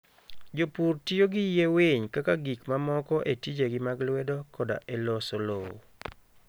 Jopur tiyo gi yie winy kaka gik mamoko e tijegi mag lwedo koda e loso lowo.